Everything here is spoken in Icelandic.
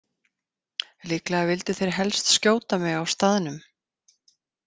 Líklega vildu þeir helst skjóta mig á staðnum.